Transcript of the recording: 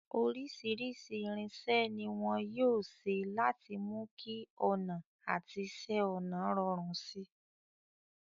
Oríṣìíríṣìí irinṣẹ́ ni wọn yóò ṣe láti mú kí ọnà àti iṣẹ́ ọnà rọrùn si.